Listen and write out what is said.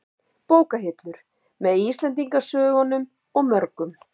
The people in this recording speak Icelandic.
Bókahillur, með Íslendingasögunum og mörgum